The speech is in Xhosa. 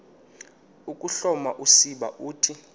ukuhloma usiba uthi